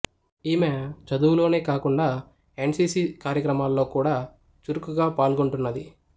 ఈమె చదువులోనే గాకుండా ఎన్ సి సి కార్యక్రమాలలో గూడా చురుకుగా పాల్గొంటున్నది